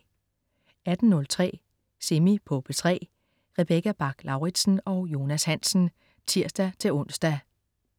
18.03 Semi på P3. Rebecca Bach-Lauritsen og Jonas Hansen (tirs-ons)